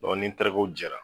Ɔ ni n terikɛw jɛra